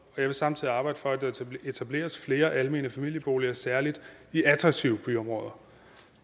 jeg vil samtidig arbejde for at der etableres flere almene familieboliger særlig i attraktive byområder